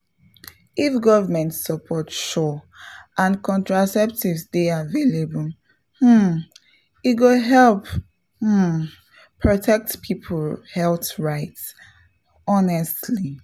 if government support sure and contraceptives dey available um e go help um protect people health rights — pause small honestly